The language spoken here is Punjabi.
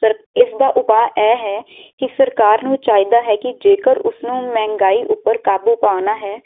ਸਰ ਇਸ ਦਾ ਉਪਾ ਇਹ ਹੈ ਕਿ ਸਰਕਾਰ ਨੂੰ ਚਾਹੀਦਾ ਹੈ ਕਿ ਜੇਕਰ ਉਸਨੂੰ ਮਹਿਗਾਈ ਉਪਰ ਕਾਬੂ ਪਾਉਣਾ ਹੈ